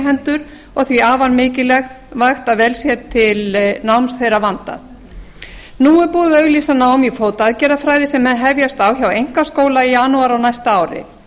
hendur og því afar mikilvægt að vel sé til náms þeirra vandað nú er búið að auglýsa nám í fótaaðgerðafræði sem hefjast á hjá einkaskóla í janúar á næsta ári